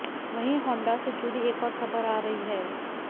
वहीं होंडा से जुड़ी एक और खबर आ रही है